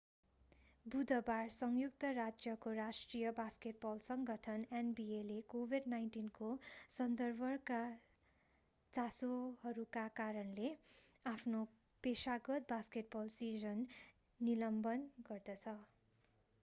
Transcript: बुधबार संयुक्त राज्यको राष्ट्रिय बास्केटबल सङ्गठन nbaले covid-19 को सन्दर्भका चासोहरूका कारणले आफ्नो पेशागत बास्केटबल सिजन निलम्बन गर्दछ।